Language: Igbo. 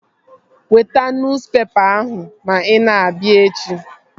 Weta nuspepa ahụ ma ị na-abịa echi!